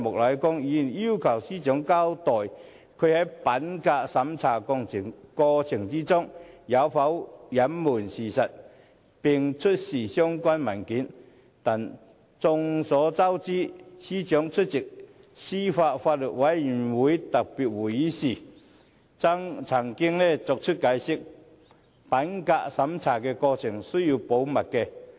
他要求司長交代她在品格審查過程中有否隱瞞事實，並出示相關文件，但眾所周知，司長早前出席司法及法律事務委員會特別會議時亦曾解釋指，品格審查的過程需要保密。